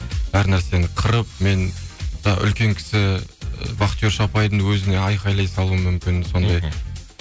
әр нәрсені қырып мен үлкен кісі ы вахтерші апайдың өзіне айқайлай салуым мүмкін сондай